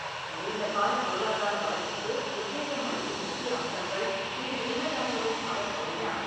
நீண்டகால பொருளாதார வளர்ச்சிக்கு உத்வேகம் அளிக்கும் முக்கிய அம்சங்கள் இதில் உள்ளதாகவும் அவர் கூறினார்.